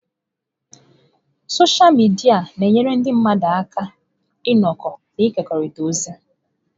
Sọsha midia na-enyere ndị mmadụ aka ịnọkọ na ịkekọrịta ozi.